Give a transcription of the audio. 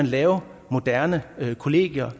lave moderne kollegier